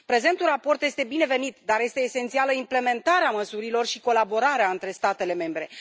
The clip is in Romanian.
Prezentul raport este binevenit, dar este esențială implementarea măsurilor și colaborarea între statele membre.